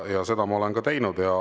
Ja seda ma olen teinud.